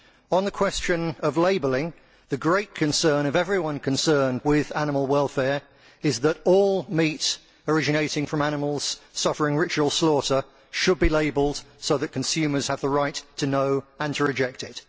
On the question of labelling, the great concern of everyone concerned with animal welfare is that all meat originating from animals suffering ritual slaughter should be labelled consumers have the right to know and to reject it.